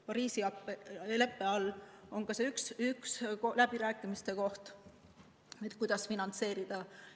Pariisi leppe raames on ka see üks läbirääkimiste teema, kuidas finantseerida.